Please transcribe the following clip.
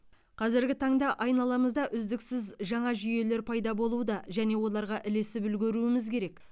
қазіргі таңда айналамызда үздіксіз жаңа жүйелер пайда болуда және оларға ілесіп үлгеруіміз керек